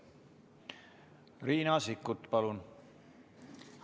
Riina Sikkut, palun!